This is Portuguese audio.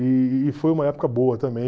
E foi uma época boa também.